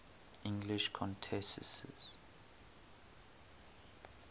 english countesses